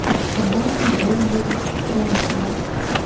подборки дэвида фрэнкова